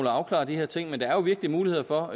at afklare de her ting men der er jo virkelig muligheder for